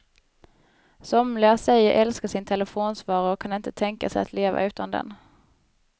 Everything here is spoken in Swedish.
Somliga säger sig älska sin telefonsvarare och kan inte tänka sig att leva utan den.